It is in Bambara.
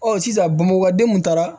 Ɔ sisan bamakɔden mun taara